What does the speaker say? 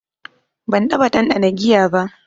Ban taɓa ɗanɗana giya ba.